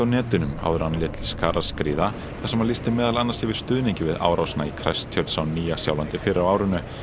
netinu áður en hann lét til skarar skríða þar sem hann lýsti meðal annars yfir stuðningi við árásina í Christchurch á Nýja Sjálandi fyrr á árinu